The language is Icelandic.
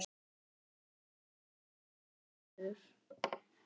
Það var kominn vetur.